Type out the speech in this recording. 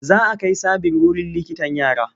Za a kai Sabir wurin likitan yara.